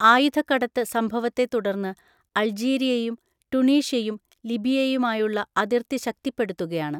ആയുധക്കടത്ത് സംഭവത്തെത്തുടർന്ന് അൾജീരിയയും ടുണീഷ്യയും ലിബിയയുമായുള്ള അതിർത്തി ശക്തിപ്പെടുത്തുകയാണ്.